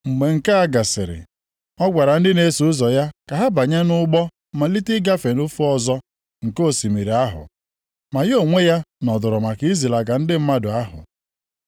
Mgbe nke a gasịrị, ọ gwara ndị na-eso ụzọ ya ka ha banye nʼụgbọ malite ịgafe ofe ọzọ nke osimiri ahụ. Ma ya onwe ya nọdụrụ maka izilaga ndị mmadụ ahụ.